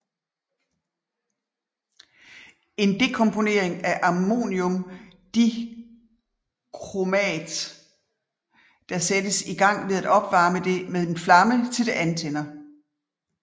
En dekomponering af ammoniumdichromat der sættes i gang ved at opvarme det med en flamme til det antænder